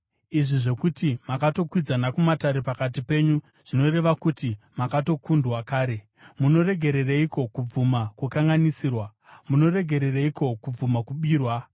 Izvi zvokuti makatokwidzana kumatare pakati penyu zvinoreva kuti makatokundwa kare. Munoregereiko kubvuma kukanganisirwa? Munoregereiko kubvuma kubirwa?